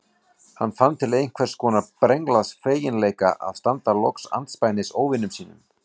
Hann fann til einhvers konar brenglaðs feginleika að standa loks andspænis óvinum sínum.